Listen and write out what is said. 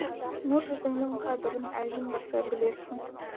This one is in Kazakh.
нұр жүзіңнің қадырын әжім баса білерсің